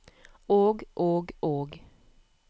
og og og